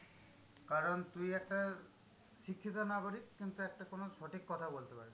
কারণ তুই একটা শিক্ষিত নাগরিক, কিন্তু একটা কোনো সঠিক কথা বলতে পারবি না।